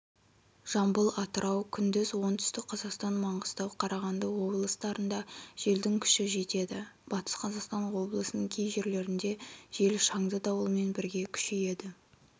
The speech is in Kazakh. жамбыл атырау күндіз оңтүстік-қазақстан маңғыстау карағанды облыстарында желдің күші жетеді батыс қазақстан облысының кей жерлерінде жел шаңды дауылмен бірге күшейеді